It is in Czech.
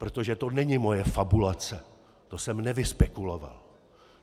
Protože to není moje fabulace, to jsem nevyspekuloval.